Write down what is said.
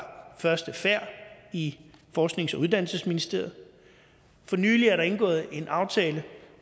første færd i forsknings og uddannelsesministeriet for nylig er der indgået en aftale